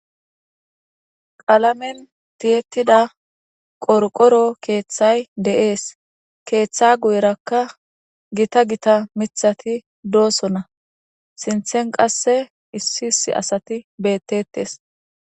qalamen tiyettida qorqoro keeththay de'es keeththa guyrakka gita gita mithati doosso na sinthen qasse issi hissi asati bettetes